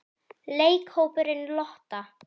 Leikhópurinn Lotta?